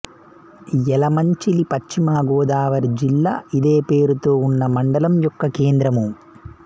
యలమంచిలి పశ్చిమ గోదావరి జిల్లా ఇదే పేరుతో ఉన్న మండలం యొక్క కేంద్రము